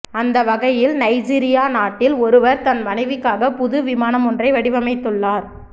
அந்த வகையில் நைஜீரியா நாட்டில் ஒருவர் தன் மனைவிக்காக புது விமானம் ஒன்றை வடிவமைத்துள்ளார்